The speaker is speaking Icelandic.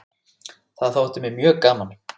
Það þótti mér mjög gaman.